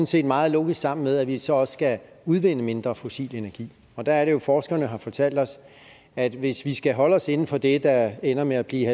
set meget logisk sammen med at vi så også skal udvinde mindre fossil energi og der er det jo at forskerne har fortalt os at hvis vi skal holde os inden for det der ender med at blive